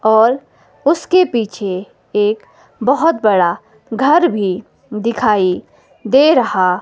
और उसके पीछे एक बहोत बड़ा घर भी दिखाई दे रहा--